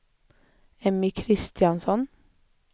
Emmy Kristiansson